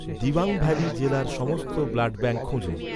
Dibang valley জেলার সমস্ত blood bank খুঁজুন